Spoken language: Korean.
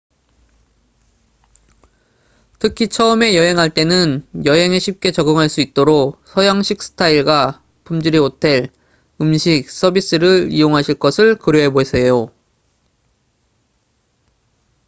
특히 처음에 여행할 때는 여행에 쉽게 적응할 수 있도록 서양식 스타일과 품질의 호텔 음식 서비스를 이용하실 것을 고려해 보세요